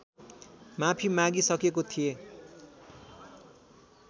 माफी मागी सकेको थिएँ